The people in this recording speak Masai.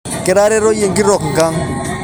Kiteretoyie nkitok nkang